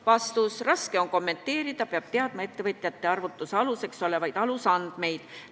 Vastus: raske on kommenteerida, peab teadma ettevõtjate arvutuse aluseks olevaid andmeid.